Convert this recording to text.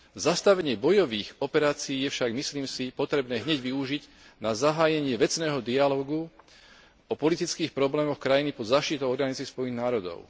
Zastavenie bojových operácií je však, myslím si, potrebné hneď využiť na zahájenie vecného dialógu o politických problémoch krajiny pod záštitou Organizácie Spojených národov.